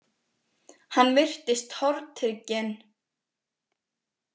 Hann virtist tortrygginn.